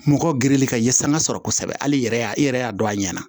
Mɔgɔ geren ka ye sanga sɔrɔ kosɛbɛ hali i yɛrɛ y'a i yɛrɛ y'a dɔn a ɲɛna